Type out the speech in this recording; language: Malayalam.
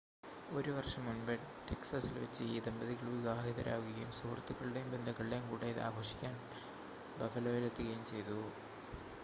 ഒരു വർഷം മുൻപ് ടെക്‌സാസിൽ വച്ച് ഈ ദമ്പതികൾ വിവാഹിതരാവുകയും സുഹൃത്തുക്കളുടെയും ബന്ധുക്കളുടെയും കൂടെ ഇത് ആഘോഷിക്കാൻ ബഫലോയിൽ എത്തുകയും ചെയ്തു